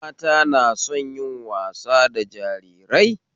Mata na son yin wasa da jarirai